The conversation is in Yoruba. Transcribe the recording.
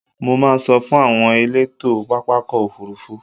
Mo máa sọ fún àwọn elétò pápákọ̀ òfurufú.